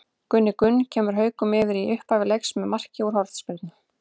Gunni Gunn kemur Haukum yfir í upphafi leiks með marki úr hornspyrnu.